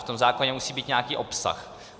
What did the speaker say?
V tom zákoně musí být nějaký obsah.